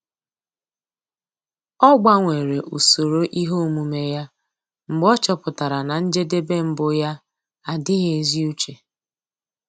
Ọ́ gbanwere usoro ihe omume ya mgbe ọ́ chọ́pụ̀tárà na njedebe mbụ yá ádị́ghị́ ézi úché.